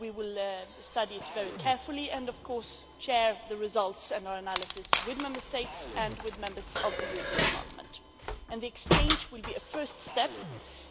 We will study it very carefully and of course share the results and our analysis with Member States and with Members of the European Parliament. The exchange will be a first step